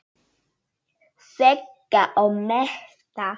Vega og meta.